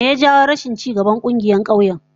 Me ya jawo rashin ci gaban kungiyoyin kauyen?